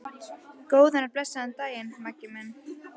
Góðan og blessaðan daginn, Maggi minn.